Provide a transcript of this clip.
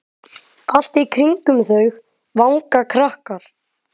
Allt í kringum þau vanga krakkar.